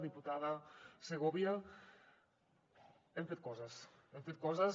diputada segovia hem fet coses hem fet coses